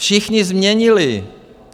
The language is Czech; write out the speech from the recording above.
Všichni změnili.